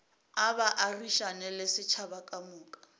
a baagišane le setšhaba kamoka